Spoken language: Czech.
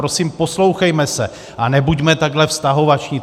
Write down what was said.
Prosím, poslouchejme se a nebuďme takhle vztahovační.